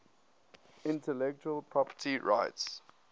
intellectual property rights